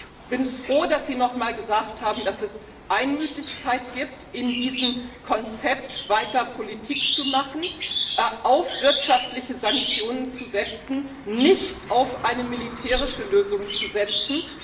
Ich bin froh, dass Sie noch einmal gesagt haben, dass es Einmütigkeit gibt, in diesem Konzept, weiter Politik zu machen, auf wirtschaftliche Sanktionen zu setzen, nicht auf eine militärische Lösung zu setzen.